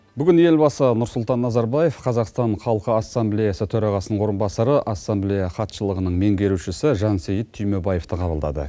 бүгін елбасы нұрсұлтан назарбаев қазақстан халқы ассамблеясы төрағасының орынбасары ассамблея хатшылығының меңгерушісі жансейіт түймебаевты қабылдады